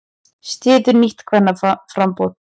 Styður nýtt kvennaframboð